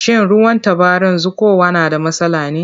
Shin ruwan tabaran zuƙowa na da matsala ne?